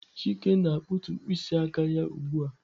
Chike na-akpụtu mkpịsị aka ya ugbu a.